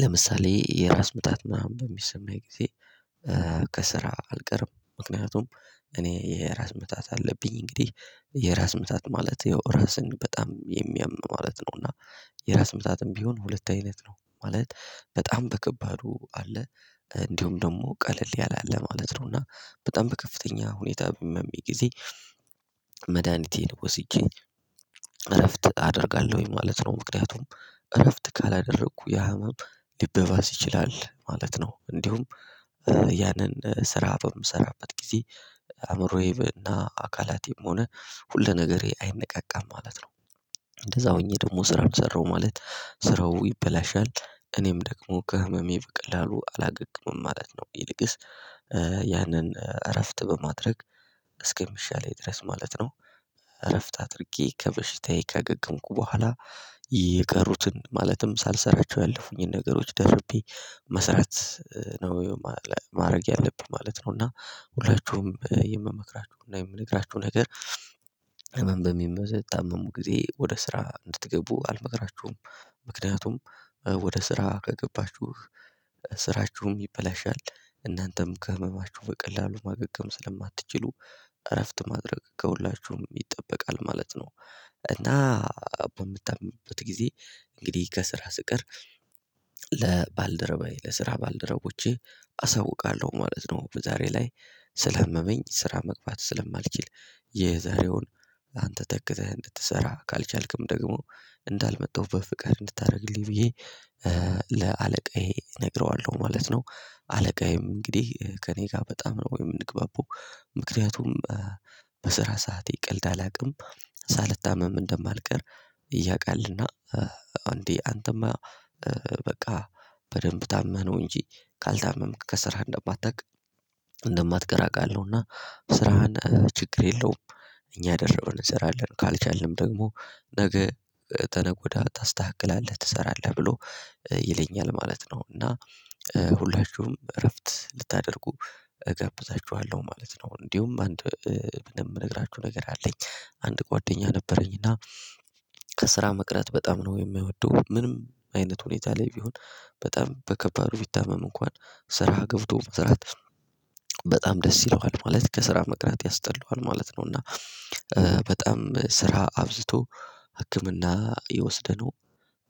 ለምሳሌ የራስ ምታት ምናምን በሚሰማኝ ጊዜ ከስራ አልቀርም ምክንያቱም እኔ የራስ ምታት አለብኝ እንግዲህ የራስ ምታት ማለት ራስን በጣም የሚያም ማለት ነው እና የራስ ምታትም ቢሆን ሁለት አይነት ነው ማለት በጣም በከባዱ አለ እንዲሁም ደግሞ ቀለል ያለ አለ ማለት ነው እና በጣም በከፍተኛ ሁኔታ በሚያመኝ ጊዜ መድሃኒቴን ወስጄ እረፍት አደርጋለሁኝ ማለት ነው ምክንያቱም እረፍት ካላደረኩ ያ ህመም ሊበባስ ይችላል ማለት ነው እንዲሁም ያንን ስራ በምሰራበት ጊዜ አእምሮዬ እና አካላቴም ሆነ ሁለ ነገሬ አይነቃቃም ማለት ነው እንደዛ ሆኜ ደግሞ ስራውን ሰራሁ ማለት ስራው ይበላሻል እኔም ደግሞ ከህመሜ በቀላሉ አላገግምም ማለት ነው ይልቅስ ያንን እረፍት በማድረግ እስከሚሻለኝ ድረስ ማለት ነው እረፍት አድርጌ ከበሽታዬ ካገገምኩ በኋላ የቀሩትን ማለትም ሳልሰራቸው ያለፉኝን ነገሮች ደርቤ መስራት ነው ማድረግ ያለብኝ ማለት ነው እና ሁላችሁም የምመክራችሁና እንደምነግራችሁ ነገር ህመም በምትታመሙ ጊዜ ወደ ስራ እንድትገቡ አልመክራችሁም ምክንያቱም ወደ ስራ ከገባችሁ ስራችሁም ይበላሻል እናንተም ከህመማችሁ በቀላሉ ማገገም ስለማትችሉ እረፍት ማድረግ ከሁላችሁም ይጠበቃል ማለት ነው፤ እና በምታመምበት ጊዜ እንግዲህ ከስራ ስቀር ለባልደረባዬ ለስራ ባልደረቦቼ አሳውቃለሁ ማለት ነው በዛሬ ላይ ስላመመኝ ስራ መግባት ስለማልችል የዘሬውን ላንተ ተክተህ እንድትሰራ ካልቻልክም ደግሞ እንዳልመጣሁ በፍቃድ እንድታደርግልኝ ብዬ ለአለቃዬ እነግረዋለሁ ማለት ነው አለቃዬም እንግዲህ ከእኔ ጋር በጣም ነው የምንግባባው ምክንያቱም በስራ ሰዓቴ ቀልድ አላውቅም ሳልታመም እንደማልቀር ያውቃልና እንዴ አንተማ በቃ በደንብ ታመህ ነው እንጂ ካልታመምክ ከስራህ እንደማትቀር አቃለሁ እና ስራህን ችግር የለውም እኛ ደርበን እንሰራለን ካልቻልንም ደግሞ ነገ ከነገ ወዲያ ታስተካክላለህ ትሰራለህ ብሎ ይለኛል ማለት ነው እና ሁላችሁም እረፍት ልታደርጉ እጋብዛችኋለሁ ማለት ነው እንዲሁም አንድ የምነግራችሁ ነገር አለኝ አንድ ጓደኛ ነበረኝ እና ከስራ መቅረት በጣም ነው የሚወደው ምንም አይነት ሁኔታ ላይ ቢሆን በጣም በከባዱ ቢታመም እንኳን ስራ ገብቶ መስራት በጣም ደስ ይለዋል ማለት ከስራ መቅረት ያስጠላዋል ማለት ነው እና በጣም ስራ አብዝቶ ህክምና እየወሰደ ነው